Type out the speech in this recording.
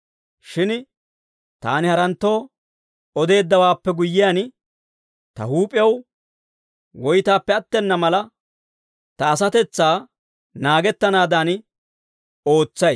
Shin taani haranttoo odeeddawaappe guyyiyaan, ta huup'ew woytaappe attena mala, ta asatetsaa naagettanaadan ootsay.